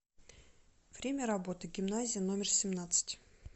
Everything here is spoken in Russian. время работы гимназия номер семнадцать